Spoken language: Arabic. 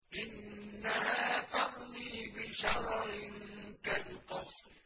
إِنَّهَا تَرْمِي بِشَرَرٍ كَالْقَصْرِ